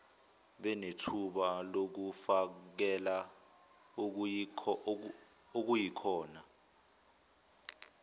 benethuba lokufakela okuyikhona